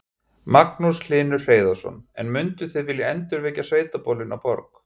Magnús Hlynur Hreiðarsson: En munduð þið vilja endurvekja sveitaböllin á Borg?